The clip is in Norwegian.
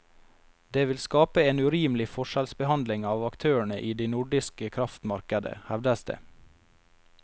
Det vil skape en urimelig forskjellsbehandling av aktørene i de nordiske kraftmarkedet, hevdes det.